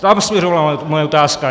Tam směřovala moje otázka.